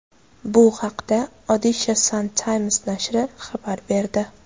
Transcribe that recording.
Bu haqda Odisha Sun Times nashri xabar berdi .